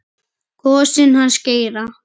Gosinn hans Geira.